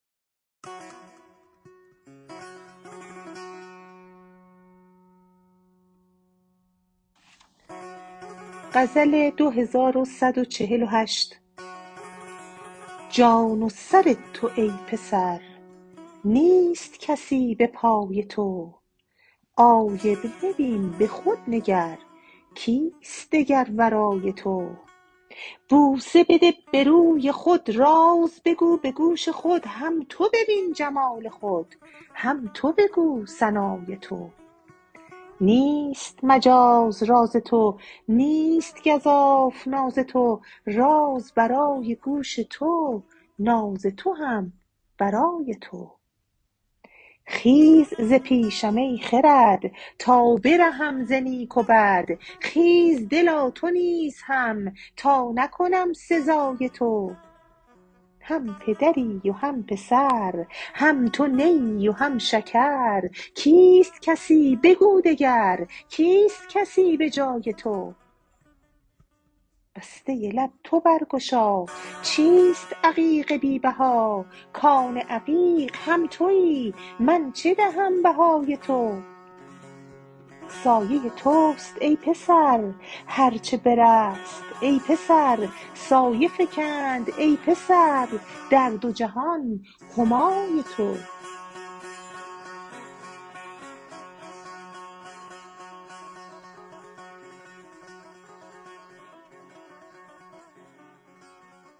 جان و سر تو ای پسر نیست کسی به پای تو آینه بین به خود نگر کیست دگر ورای تو بوسه بده به روی خود راز بگو به گوش خود هم تو ببین جمال خود هم تو بگو ثنای تو نیست مجاز راز تو نیست گزاف ناز تو راز برای گوش تو ناز تو هم برای تو خیز ز پیشم ای خرد تا برهم ز نیک و بد خیز دلا تو نیز هم تا نکنم سزای تو هم پدری و هم پسر هم تو نیی و هم شکر کیست کسی بگو دگر کیست کسی به جای تو بسته لب تو برگشا چیست عقیق بی بها کان عقیق هم تویی من چه دهم بهای تو سایه توست ای پسر هر چه برست ای پسر سایه فکند ای پسر در دو جهان همای تو